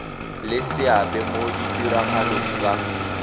le seabe mo ditiragalong tsa